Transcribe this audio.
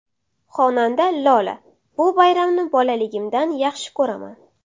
Xonanda Lola: Bu bayramni bolaligimdan yaxshi ko‘raman!